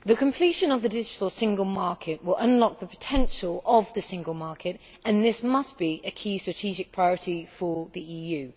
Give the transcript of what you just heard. Mr President, the completion of the digital single market will unlock the potential of the single market and this must be a key strategic priority for the EU.